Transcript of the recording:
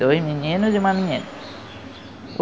Dois meninos e uma menina.